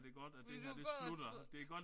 Vil du gå og tro